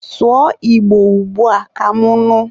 sụọ Igbo ugbua ka mụ nụ!